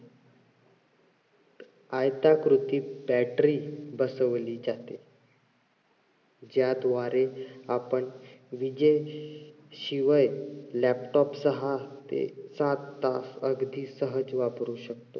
आयताकृती battery बसवली जाते. ज्याद्वारे आपण विजेशिवाय laptop सहा ते सात तास अगदी सहज वापरू शकतो.